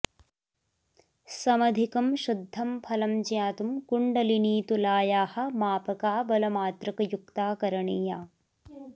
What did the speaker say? समधिकं शुद्धं फलं ज्ञातुं कुण्डलिनीतुलायाः मापका बलमात्रकयुक्ता करणीया